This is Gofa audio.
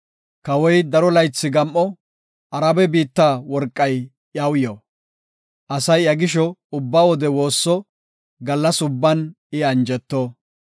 Kawoy daro laythi gam7o; Arabe biitta worqay iyaw yo. Asay iya gisho ubba wode woosso; gallas ubban I anjeto.